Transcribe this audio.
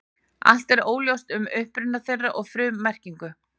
Allt er óljóst um uppruna þeirra og frummerkingu.